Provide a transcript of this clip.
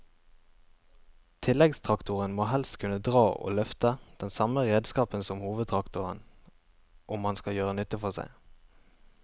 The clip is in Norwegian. Tilleggstraktoren må helst kunne dra og løfte den samme redskapen som hovedtraktoren om han skal gjøre nytte for seg.